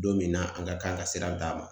Don min na an ka kan ka sira d'a ma.